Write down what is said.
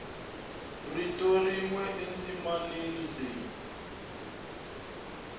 rito rin we endzimaneni leri